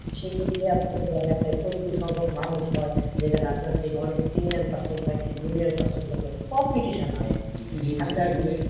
সেই ক্ষেত্রে আপনাকে দেখা যায় যে প্রচুর সংখ্যক মানুষ হয় যেখানে আপনার থেকে অনেক senior person থাকে junior person থাকে competition হয় আর কি,